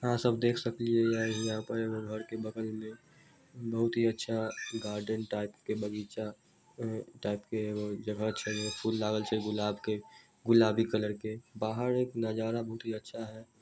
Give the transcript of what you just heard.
आहां सब देख सकलिये या यहाँ पर एगो घर के बगल में बहुत ही अच्छा गार्डन टाइप के बगीचा अ टाइप के एगो जगह छै ओय में फूल लागल छै गुलाब के गुलाबी कलर के बाहर एक नजारा बहुत ही अच्छा है।